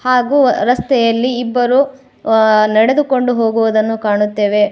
ಹಾಗು ರಸ್ತೆಯಲ್ಲಿ ಇಬ್ಬರು ಆ ನಡೆದುಕೊಂಡು ಹೋಗುವುದನ್ನು ಕಾಣುತ್ತೇವೆ.